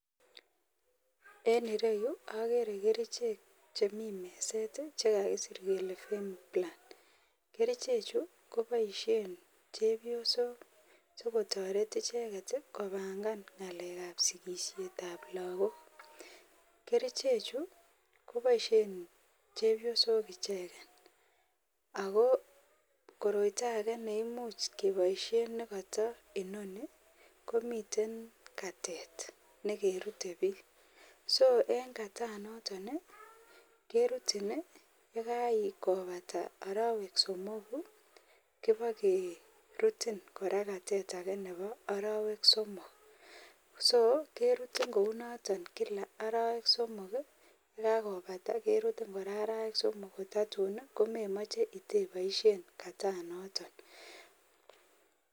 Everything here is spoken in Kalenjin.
En ireu akeree kerchek chemi meset chekakisir Kele femiplant Kericho Chu koboisyen chepyosok sikotaret icheget kobangan ngalek ab sigisyet ab lagok. keriche Chu koboisyen chepyosok icheget. agokoroito age neimuche keboisyen negato inoni komiten Kate negerute biik so en Katan noton kerutin yegakobata arowek somok kebagerutin kora Katet age Nebo arowek somok so kerutin kounoto kila arowek somok yegakobata kerutin kora arowek somok kotatun komeimoche iboisyen Katan noton